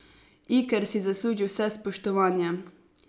Iker si zasluži vse spoštovanje.